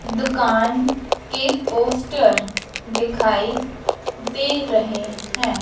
दुकान के पोस्टर दिखाई दे रहे हैं।